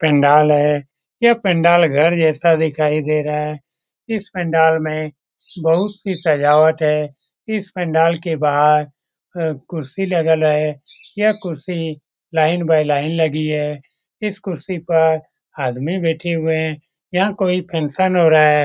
पंडाल है ये पंडाल घर जैसा दिखाई दे रहा है इस पंडाल में बहुत सी सजावट है इस पंडाल के बाहर अ कुर्सी लगल है यह कुर्सी लाइन बाई लाइन लगी है इस कुर्सी पर आदमी बेठे हुए हैं यहाँ कोई फंक्शन हो रहा है।